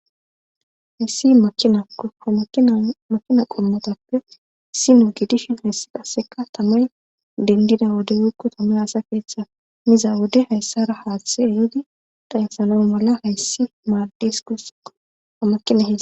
hayssi amakina qommotappe issi nuu gidishin hayssi qasseka tamay dendida wode wiikko tamay asa keeththa miza wode hayssara haaththe ehidi daynsana mala hayssi maaddes kussikko hamakina hei